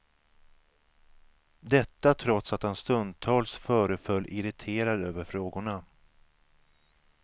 Detta trots att han stundtals föreföll irriterad över frågorna.